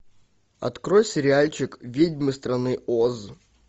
открой сериальчик ведьмы страны оз